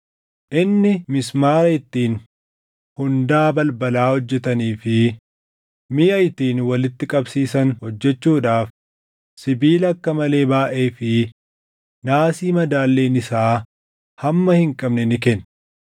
Inni mismaara ittiin hundaa balbalaa hojjetanii fi miʼa ittiin walitti qabsiisan hojjechuudhaaf sibiila akka malee baayʼee fi naasii madaalliin isaa hamma hin qabne ni kenne.